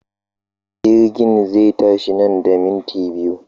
Jirgin zai tashi nan da minti biyu.